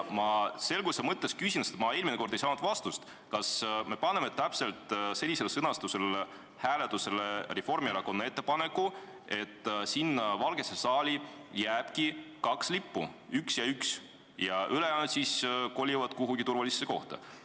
Ma selguse mõttes küsin, sest ma eelmine kord ei saanud vastust: kas me paneme täpselt sellise sõnastusega hääletusele Reformierakonna ettepaneku, et Valgesse saali jääb kaks lippu – üks ja üks – ja ülejäänud siis kolivad kuhugi turvalisse kohta?